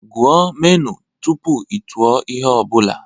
Gụọ menu tupu ị tụọ ihe ọ bụla